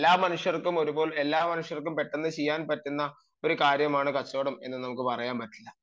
എല്ലാ മനുഷ്യർക്കും എളുപ്പത്തിൽ എല്ലാ മനുഷ്യർക്കും ഒരുപോലെ വളരെ എളുപ്പത്തിൽ ചെയ്യാൻ പറ്റുന്നതാണ് കച്ചവടം എന്ന് നമുക്ക് പറയാൻ പറ്റില്ല